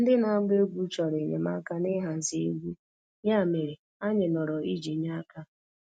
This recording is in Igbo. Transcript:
Ndị na-agba egwú chọrọ enyemaka n'ịhazi egwu, ya mere, anyị nọrọ iji nye aka.